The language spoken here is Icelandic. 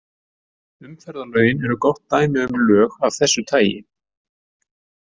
Umferðarlögin eru gott dæmi um lög af þessu tagi.